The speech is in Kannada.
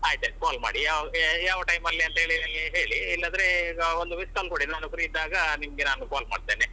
ಆಯ್ತಯ್ತು call ಮಾಡಿ ಯಾವ ಯಾವ time ಲ್ಲಿ ಅಂತ ಹೇಳಿ ಇಲ್ಲದ್ರೆ ಈಗ ಒಂದು miss call ಕೊಡಿ ನಾನು free ಇದ್ದಾಗ ನಿಮ್ಗೆ ನಾನು call ಮಾಡ್ತೇನೆ.